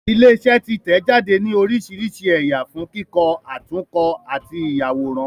Ilé iṣẹ́ títẹ̀-jáde ní oríṣiríṣi ẹ̀yà fún kíkọ, àtúnkọ àti ìyàwòrán